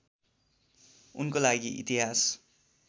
उनको लागि इतिहास